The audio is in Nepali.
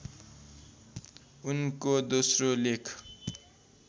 उनको दोस्रो लेख